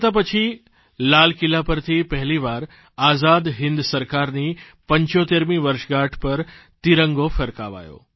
સ્વતંત્રતા પછી લાલ કિલ્લા પરથી પહેલીવાર આઝાદ હિન્દ સરકારની 75મી વર્ષગાંઠ પર તિરંગો ફરકાવાયો